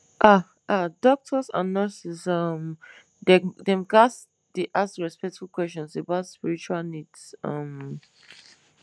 ah ah doctors and nurses um dem ghats dey ask respectful questions about spiritual needs um